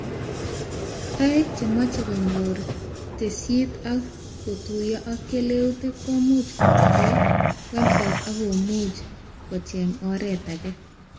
Toek chemachee konyor tesisyit ak kotuyo ak keleutik komuch komawekee website ak komuch kocheng oret ake